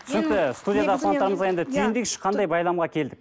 түйіндейікші қандай байламға келдік